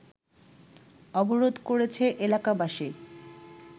অবরোধ করেছে এলাকাবাসী